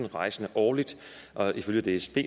rejsende årligt ifølge dsb